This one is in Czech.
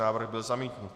Návrh byl zamítnut.